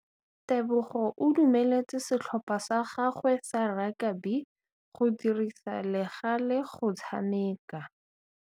Tebogô o dumeletse setlhopha sa gagwe sa rakabi go dirisa le galê go tshameka.